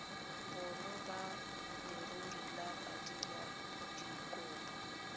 bonno ba leruri ya badiradikopo